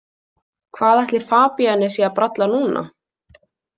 Hvað ætli Fabienne sé að bralla núna?